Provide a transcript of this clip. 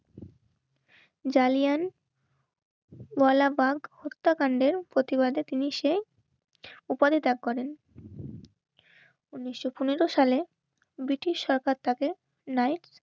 জালিয়ান বলাবাক হত্যাকাণ্ডের প্রতিবাদে তিনি সে ওপারে ত্যাগ করেন. উনিশশো পনেরো সালে ব্রিটিশ সরকার তাকে লাইভ